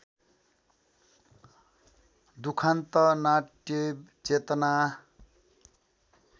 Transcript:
दुखान्त नाट्यचेतना